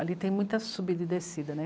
Ali tem muita subida e descida, né?